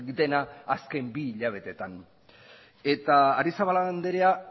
dena azken bi hilabeteetan eta arrizabalaga andrea